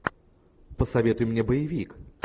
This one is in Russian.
посоветуй мне боевик